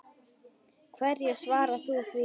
Hverju svarar þú því?